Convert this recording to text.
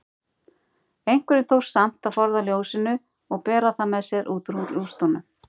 Einhverjum tókst samt að forða ljósinu og bera það með sér út úr rústunum.